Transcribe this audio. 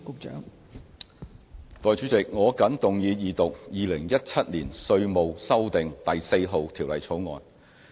代理主席，我謹動議二讀《2017年稅務條例草案》。